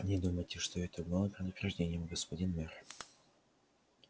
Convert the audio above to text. не думайте что это было предупреждением господин мэр